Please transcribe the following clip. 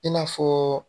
I n'a fɔ